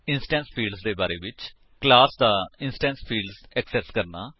instance fields ਦੇ ਬਾਰੇ ਵਿੱਚ ਕਲਾਸ ਦਾ ਇੰਸਟੈਂਸ ਫੀਲਡਜ਼ ਐਕਸੇਸ ਕਰਨਾ